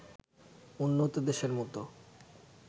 উন্নত দেশের মতো